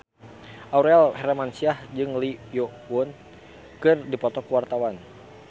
Aurel Hermansyah jeung Lee Yo Won keur dipoto ku wartawan